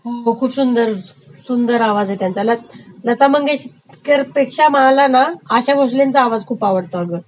हो खूप सुंदर, सुंदर.....आवाज आहे त्यांचा, लता मंगेशकरपेक्षा मला ना आशा भासलेंचा आवाज खूप आवडतो अगं